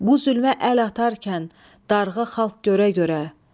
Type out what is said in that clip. Bu zülmə əl atarkən darğa xalq görə-görə.